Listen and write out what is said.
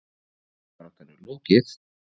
Fallbaráttunni lokið?